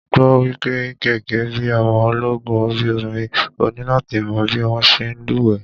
Mo gbọ́ wípé gẹ́gẹ́ bí ọmọ ológun orí omi, o ní láti mọ̀ bí wón ṣe ń lú wẹ́ẹ̀.